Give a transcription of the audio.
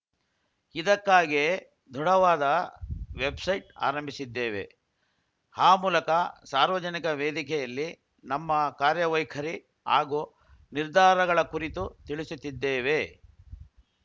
ಇದಕ್ಕಾಗೇ ದೃಢವಾದ ವೆಬ್‌ಸೈಟ್‌ ಆರಂಭಿಸಿದ್ದೇವೆ ಆ ಮೂಲಕ ಸಾರ್ವಜನಿಕ ವೇದಿಕೆಯಲ್ಲಿ ನಮ್ಮ ಕಾರ್ಯವೈಖರಿ ಹಾಗೂ ನಿರ್ಧಾರಗಳ ಕುರಿತು ತಿಳಿಸುತ್ತಿದ್ದೇವೆ